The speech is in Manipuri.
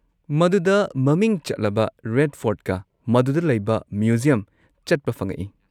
ꯃꯗꯨꯗ ꯃꯃꯤꯡ ꯆꯠꯂꯕ ꯔꯦꯗ ꯐꯣꯔꯠꯀ ꯃꯗꯨꯗ ꯂꯩꯕ ꯃ꯭ꯌꯨꯖꯤꯌꯝ ꯆꯠꯄ ꯐꯉꯛꯏ꯫